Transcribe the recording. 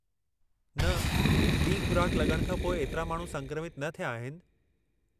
न, ॿी खु़राक लॻण खां पोइ एतिरा माण्हू संक्रमित न थिया आहिनि।